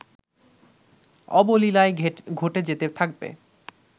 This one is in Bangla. অবলীলায় ঘটে যেতে থাকবে